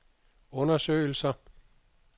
undersøgelser